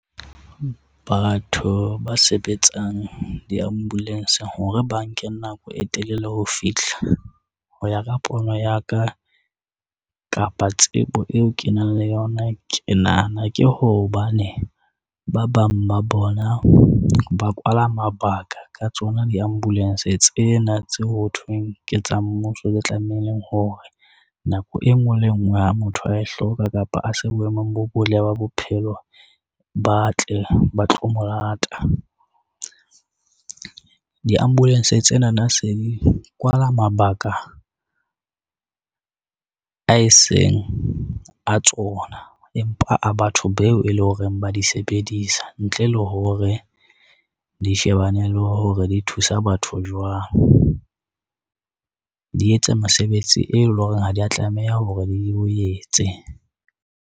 Batho ba sebetsang di-ambulance-ng hore ba nke nako e telele ho fihla ho ya ka pono ya ka, kapa tsebo eo ke nang le yona ke nahana ke hobane ba bang ba bona ba kwala mabaka ka tsona di-ambulance tsena tse ho thweng ke tsa mmuso, tse tlamehileng hore nako e ngwe le e ngwe, ha motho a e hloka kapa a se boemong bo botle ba bophelo ba tle ba tlo mo lata. Di-ambulance tsena na se di kwala mabaka, a eseng a tsona empa a ba batho beo e lo ho reng ba di sebedisa ntle le hore di shebane le hore di thusa batho jwang. Di etsa mesebetsi eo lo reng ha dia tlameha hore di o etse.